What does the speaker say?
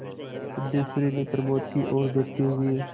सिद्धेश्वरी ने प्रमोद की ओर देखते हुए